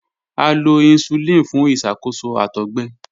A lo hisulini fun iṣakoso àtọgbẹ.